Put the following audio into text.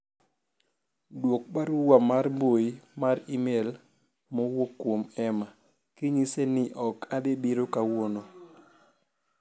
dwok barua mar mbui mar email mowuok kuom Emma kinyise ni ok adhi biro kawuono